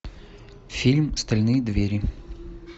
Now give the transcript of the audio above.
фильм стальные двери